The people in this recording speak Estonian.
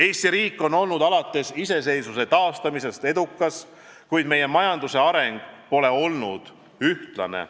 Eesti riik on olnud alates iseseisvuse taastamisest edukas, kuid meie majanduse areng pole olnud ühtlane.